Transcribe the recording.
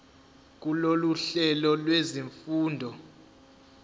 kulolu hlelo lwezifundo